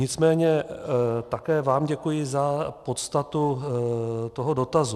Nicméně také vám děkuji za podstatu toho dotazu.